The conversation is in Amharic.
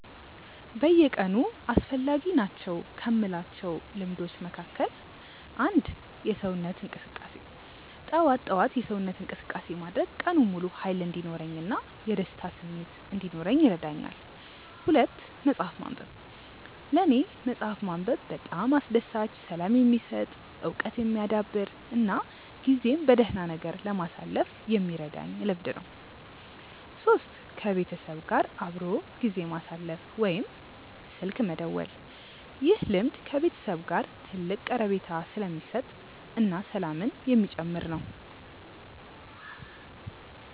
በየቀኑ አስፈላጊ ናቸው ከምላቸው ልምዶች መካከል፦ 1. የሰውነት እንቅስቃሴ፦ ጠዋት ጠዋት የሰውነት እንቅስቃሴ ማድረግ ቀኑን ሙሉ ሃይል እንዲኖረኝ እና የደስታ ስሜት እንዲኖረኝ ይረዳኛል። 2. መፅሐፍ ማንበብ፦ ለኔ መፅሐፍ ማንበብ በጣም አስደሳች፣ ሰላም የሚሰጥ፣ እውቀት የሚያዳብር እና ጊዜን በደህና ነገር ለማሳለፍ የሚረዳኝ ልምድ ነው። 3. ከቤተሰብ ጋር አብሮ ጊዜ ማሳለፍ ወይም ስልክ መደወል፦ ይህ ልምድ ከቤተሰብ ጋር ትልቅ ቀረቤታ የሚሰጥ እና ሰላምን የሚጨምር ነው